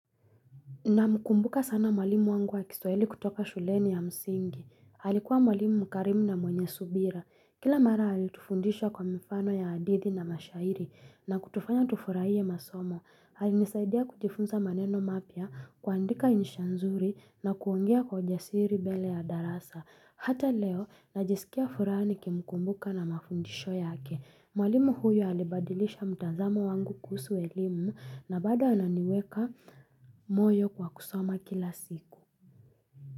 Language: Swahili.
Namkumbuka sana mwalimu wangu wa kiswali kutoka shuleni ya msingi. Alikuwa mwalimu mkarimu na mwenye subira. Kila mara alitufundisha kwa mifano ya adithi na mashairi na kutufanya tufurahie masomo. Alinisaidia kujifunza maneno mapia, kuandika insha nzuri na kuongea kwa ujasiri mbele ya darasa. Hata leo najisikia furaha nikimkumbuka na mafundisho yake. Mwalimu huyo alibadilisha mtazamo wangu kuhusu elimu na bado ananiweka moyo kwa kusoma kila siku.